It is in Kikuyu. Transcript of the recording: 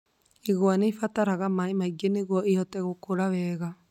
Igwa nĩ ĩbataraga maĩ maingĩ nĩguo ĩhote gũkũra wega